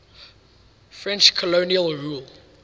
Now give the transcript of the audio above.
french colonial rule